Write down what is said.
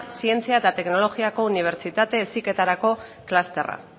zientzia eta teknologiako unibertsitate heziketarako klusterra